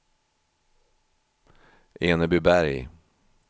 Enebyberg